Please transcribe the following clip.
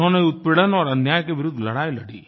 उन्होंने उत्पीड़न और अन्याय के विरुद्ध लड़ाई लड़ी